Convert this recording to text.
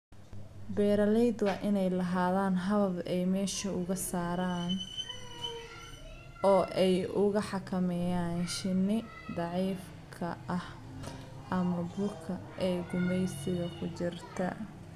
Beeralayda waa inay lahaadaan habab ay meesha uga saaraan oo ay u xakameeyaan shinni daciifka ah ama buka ee gumaysiga ku jirta.